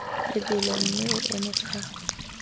lebelo mme o eme fa